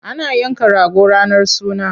Ana yanka rago ranar suna.